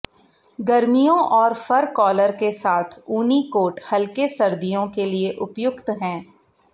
गर्मियों और fur collar के साथ ऊनी कोट हल्के सर्दियों के लिए उपयुक्त हैं